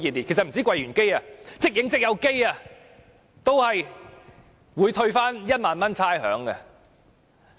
其實不單是櫃員機，即影即有照相機也會獲退1萬元差餉。